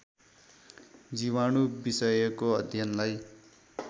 जीवाणु विषयको अध्ययनलाई